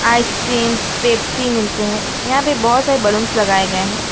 Ice cream Pepsi मिलते हैं यहां पे बहो सारे बलूंस लगाए गए हैं।